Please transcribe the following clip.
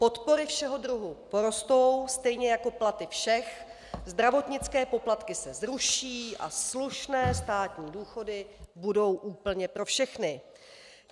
Podpory všeho druhu porostou, stejně jako platy všech, zdravotnické poplatky se zruší a slušné státní důchody budou úplně pro všechny.